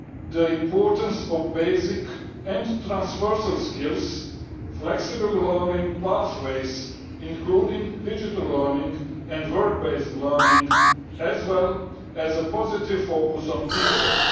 the importance of basic and transversal skills, flexible learning pathways including digital learning and work based learning and a positive focus on teachers.